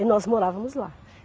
E nós morávamos lá.